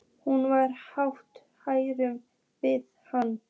Hún var hálf hrædd við hann.